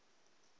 be o ka ba o